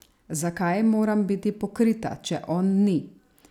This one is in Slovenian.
Zakaj moram biti pokrita, če on ni?